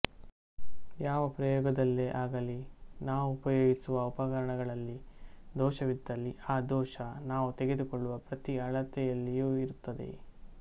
ಯಾವ ಪ್ರಯೋಗದಲ್ಲೇ ಆಗಲಿ ನಾವು ಉಪಯೋಗಿಸುವ ಉಪಕರಣಗಳಲ್ಲಿ ದೋಷವಿದ್ದಲ್ಲಿ ಆ ದೋಷ ನಾವು ತೆಗೆದುಕೊಳ್ಳುವ ಪ್ರತಿ ಅಳತೆಯಲ್ಲಿಯೂ ಇರುತ್ತದೆ